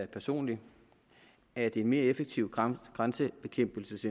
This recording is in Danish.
personligt at en mere effektiv grænsekontrolindsats